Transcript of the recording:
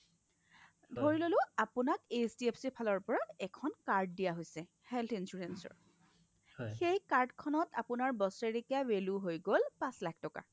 ধৰিললো আপোনাক HDFCৰ ফালৰ পৰা এখন card দিয়া হৈছে health insurance ৰ সেই card খনত আপোনাৰ বছৰেকীয়া value হৈ গ'ল পাচ লাখ টকা